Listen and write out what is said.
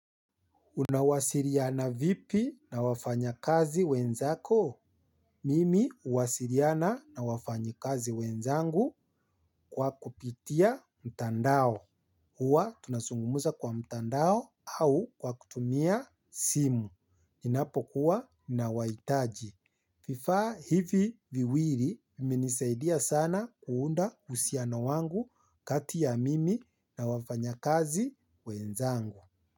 Unawasiliana vipi na wafanyakazi wenzako? Mimi huwasiliana na wafanyikazi wenzangu kwa kupitia mtandao. Huwa tunazungumza kwa mtandao au kwa kutumia simu. Ninapokuwa ninawahitaji. Vifaa hivi viwili vimenisaidia sana kuunda uhusiano wangu kati ya mimi na wafanyakazi wenzangu.